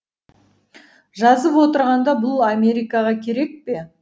жазып отырғанда бұл америкаға керек пе